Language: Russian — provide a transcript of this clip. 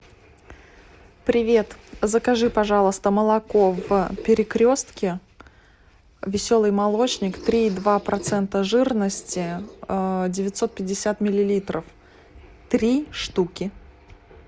привет закажи пожалуйста молоко в перекрестке веселый молочник три и два процента жирности девятьсот пятьдесят миллилитров три штуки